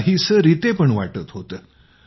काहीतरी रितेपण वाटत होतं